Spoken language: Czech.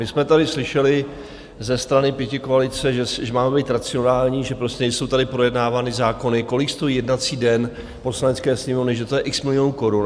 My jsme tady slyšeli ze strany pětikoalice, že máme být racionální, že nejsou tady projednávány zákony, kolik stojí jednací den Poslanecké sněmovny, že to je x milionů korun.